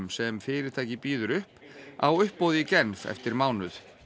sem fyrirtækið býður upp á uppboði í Genf eftir mánuð